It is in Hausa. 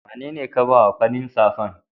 wanene ka ba wa farin safan?